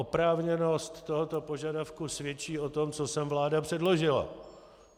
Oprávněnost tohoto požadavku svědčí o tom, co sem vláda předložila.